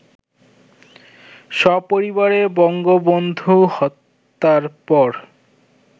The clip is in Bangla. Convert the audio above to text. সপরিবারে বঙ্গবন্ধু হত্যার পর